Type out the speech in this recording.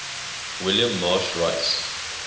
william marsh rice